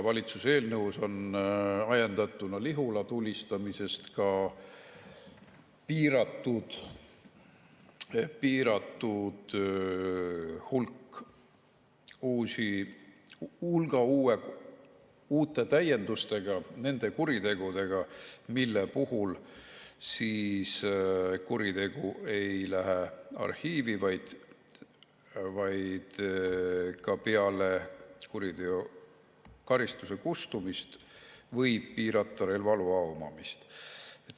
Valitsuse eelnõu on ajendatuna Lihula tulistamisest täiendatud ka piiratud hulga nende kuritegudega, mis ei lähe arhiivi, vaid ka peale karistuse kustumist võib piirata relvaloa omamist.